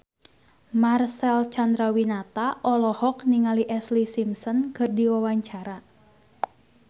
Marcel Chandrawinata olohok ningali Ashlee Simpson keur diwawancara